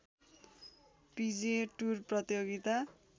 पिजिए tour प्रतियोगिता